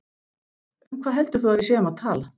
Um hvað heldur þú að við séum að tala!